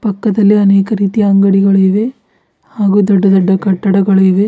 ಪಕ್ಕದಲ್ಲಿ ಅನೇಕ ರೀತಿಯ ಅಂಗಡಿಗಳು ಇವೆ ಹಾಗೂ ದೊಡ್ಡ ದೊಡ್ಡ ಕಟ್ಟಡಗಳು ಇವೆ.